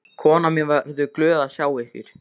Konan mín verður glöð að sjá ykkur.